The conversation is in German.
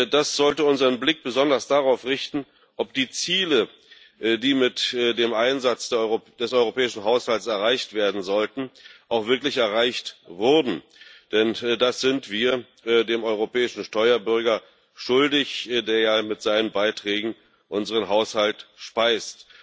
Das sollte unseren Blick besonders darauf richten, ob die Ziele, die mit dem Einsatz des europäischen Haushalts erreicht werden sollten, auch wirklich erreicht wurden, denn das sind wir dem europäischen Steuerbürger schuldig, der mit seinen Beiträgen unseren Haushalt speist.